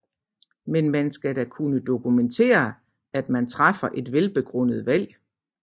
Men man skal da kunne dokumentere at man træffer et velbegrundet valg